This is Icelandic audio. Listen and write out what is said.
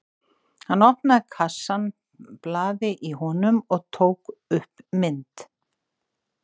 Hann opnaði kassann blaði í honum og tók loks upp mynd.